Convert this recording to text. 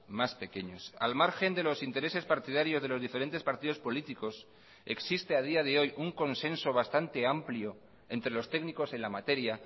más pequeños al margen de los intereses partidarios de los diferentes partidos políticos existe a día de hoy un consenso bastante amplio entre los técnicos en la materia